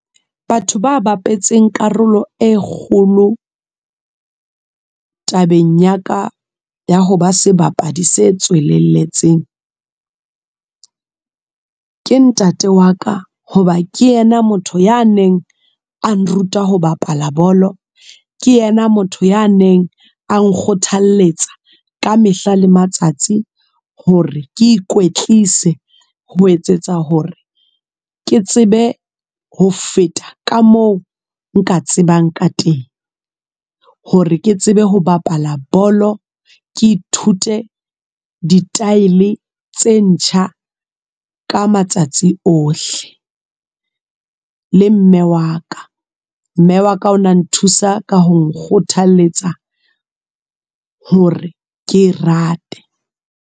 Batho ba bapetseng karolo e kgolo, tabeng ya ka ya ho ba sebapadi se tswelelletseng. Ke ntate wa ka, hoba ke yena motho ya neng a nruta ho bapala bolo. Ke yena motho ya neng a nkgothalletsa, ka mehla le matsatsi hore ke ikwetlise. Ho etsetsa hore ke tsebe ho feta ka moo nka tsebang ka teng. Hore ke tsebe ho bapala bolo. Ke ithute di-style tse ntjha, ka matsatsi ohle. Le mme wa ka, mme wa ka o na nthusa ka ho nkgothaletsa hore ke e rate.